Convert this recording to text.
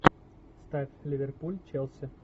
ставь ливерпуль челси